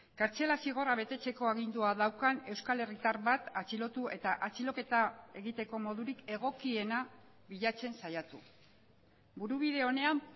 kartzela zigorra betetzeko agindua daukan euskal herritar bat atxilotu eta atxiloketa egiteko modurik egokiena bilatzen saiatu burubide onean